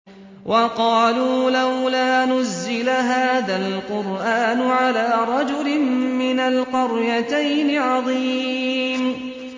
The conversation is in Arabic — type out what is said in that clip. وَقَالُوا لَوْلَا نُزِّلَ هَٰذَا الْقُرْآنُ عَلَىٰ رَجُلٍ مِّنَ الْقَرْيَتَيْنِ عَظِيمٍ